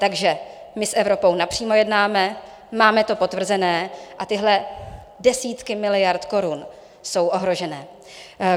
Takže my s Evropou napřímo jednáme, máme to potvrzené a tyhle desítky miliard korun jsou ohrožené.